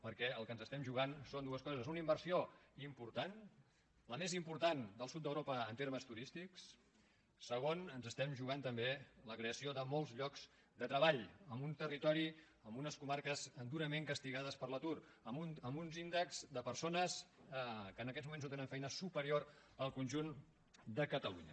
perquè el que ens estem jugant són dues coses una inversió important la més important del sud d’europa en termes turístics segon ens estem jugant també la creació de molts llocs de treball en un territori en unes comarques durament castigades per l’atur amb uns índexs de persones que en aquests moments no tenen feina superior al conjunt de catalunya